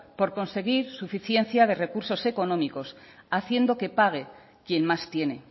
por conseguir suficiencia de recursos económicos haciendo que pague quien más tiene